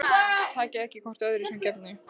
Takið ekki hvort öðru sem gefnu